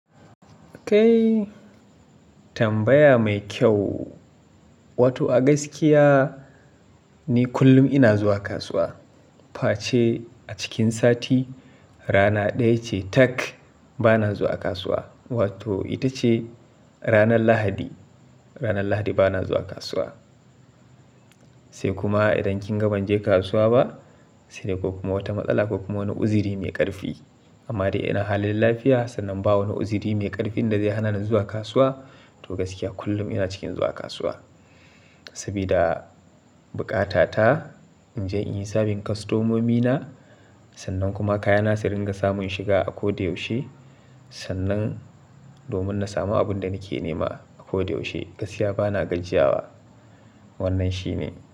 Kai tambaya mai kyau. Wato a gaskiya ni kullum ina zuwa kasuwa. Face a cikin sati rana ɗaya ce tak bana zuwa kasuwa. Wato ita ce ranar Lahadi. Ranar Lahadi bana zuwa kasuwa. Sai kuma idan kin ga banje kasuwa ba, sai da babbar matsala ko kuma wani uziri mai ƙarfi. Amma dai ina halin lafiya sannan ba wani uziri mai ƙarfin da zai hana ni zuwa kasuwa. To gaskiya kullum ina cikin zuwa kasuwa. Sabida bukata ta in je in yi serving kostomomina sannan kuma kayana su ringa samun shiga a ko da yaushe. Sannan domin na samu abin da nake nema a ko da yaushe. Gaskiya bana gajiyawa. Wannan shi ne.